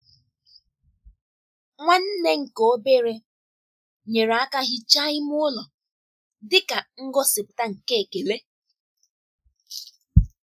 Nwanne nke obere nyere aka hichaa ime ụlọ dị ka ngosipụta nke ekele.